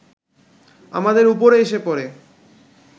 আমাদের ওপরে এসে পড়ে